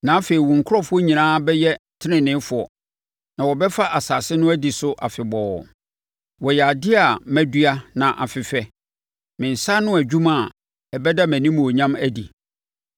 Na afei wo nkurɔfoɔ nyinaa bɛyɛ teneneefoɔ na wɔbɛfa asase no adi so afebɔɔ. Wɔyɛ adeɛ a madua na afefɛ me nsa ano adwuma a ɛbɛda mʼanimuonyam adi.